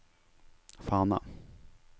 Fana